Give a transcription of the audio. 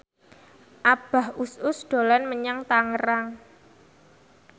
Abah Us Us dolan menyang Tangerang